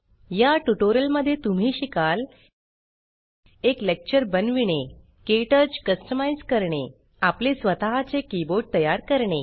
या ट्यूटोरियल मध्ये तुम्ही शिकाल एक लेक्चर बनविणे क्टच कस्टमाइज़ करणे आपले स्वत चे कीबोर्ड तयार करणे